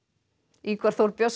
Ingvar Þór Björnsson